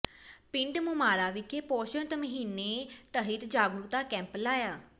ਪਿੰਡ ਮੁਮਾਰਾ ਵਿਖੇ ਪੋਸ਼ਣ ਮਹੀਨੇ ਤਹਿਤ ਜਾਗਰੂਕਤਾ ਕੈਂਪ ਲਾਇਆ